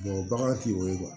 bagan t'o ye